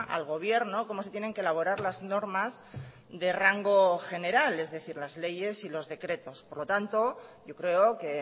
al gobierno cómo se tienen que elaborar las normas de rango general es decir las leyes y los decretos por lo tanto yo creo que